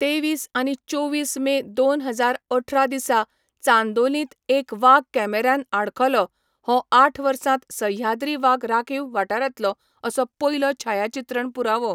तेवीस आनी चोवीस मे दोन हजार अठरा दिसा चांदोलींत एक वाग कॅमेऱ्यान आडखलो, हो आठ वर्सांत सह्याद्री वाग राखीव वाठारांतलो असो पयलो छायाचित्रण पुरावो.